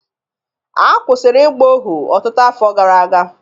A kwụsịrị ịgba ohu ọtụtụ afọ gara aga